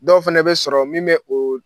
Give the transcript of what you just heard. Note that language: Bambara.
Dɔw fana bɛ sɔrɔ min bɛ o